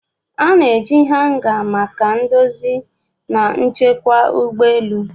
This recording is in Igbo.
A na-eji hanga maka ndozi na nchekwa ụgbọ elu.